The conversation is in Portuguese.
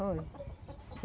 Foi.